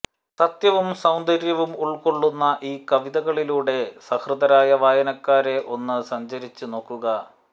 സത്യവും സൌന്ദര്യവും ഉള്ക്കൊള്ളുന്ന ഈ കവിതകളിലൂടെ സഹൃദയരായ വായനക്കാരെ ഒന്ന് സഞ്ചരിച്ച് നോക്കുക